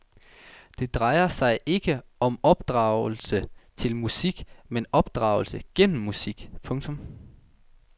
Det drejer sig ikke om opdragelse til musik men opdragelse gennem musik. punktum